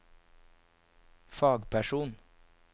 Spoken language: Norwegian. fagperson